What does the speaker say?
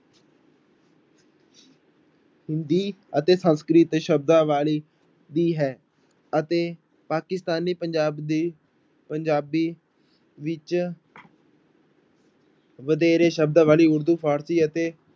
ਹਿੰਦੀ ਅਤੇ ਸੰਸਕ੍ਰਿਤ ਸ਼ਬਦਾਵਲੀ ਦੀ ਹੈ ਅਤੇ ਪਾਕਿਸਤਾਨੀ ਪੰਜਾਬ ਦੀ ਪੰਜਾਬੀ ਵਿੱਚ ਵਧੇਰੇ ਸ਼ਬਦਾਵਲੀ ਉਰਦੂ ਫ਼ਾਰਸੀ ਅਤੇੇ